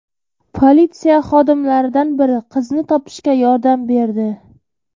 Politsiya xodimlaridan biri qizni topishga yordam berdi.